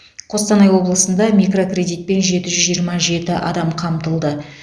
қостанай облысында микрокредитпен жеті жүз жиырма жеті адам қамтылды